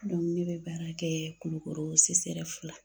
ne bɛ baara kɛ kulukoro CSREF la.